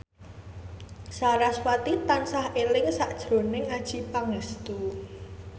sarasvati tansah eling sakjroning Adjie Pangestu